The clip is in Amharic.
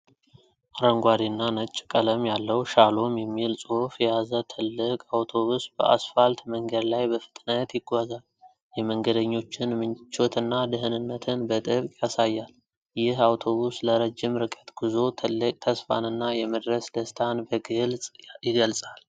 አረንጓዴ እና ነጭ ቀለም ያለው "ሻሎም" የሚል ጽሑፍ የያዘ ትልቅ አውቶብስ በአስፋልት መንገድ ላይ በፍጥነት ይጓዛል። የመንገደኞችን ምቾትና ደህንነትን በጥብቅ ያሳያል። ይህ አውቶብስ ለረጅም ርቀት ጉዞ ትልቅ ተስፋንና የመድረስ ደስታን በግልጽ ይገልጻል።